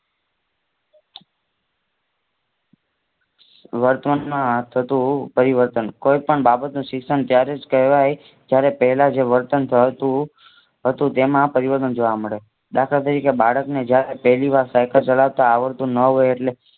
વર્તમાનમાં થતું પરિવર્તન કોઈ પણ બાબતનું શિક્ષણ ત્યારે જ કહેવાય જયારે પેહલા જે વર્તન હતું તેમાં પરિવર્તન જોવા મળે દાખલા તરીકે બાળકને જયારે પેહલી સાયકલ ચલાવતા આવડતું ન હોય એટલે